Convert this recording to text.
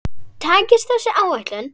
Takist þessi áætlun